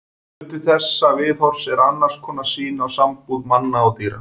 Hluti þessa viðhorfs er annars konar sýn á sambúð manna og dýra.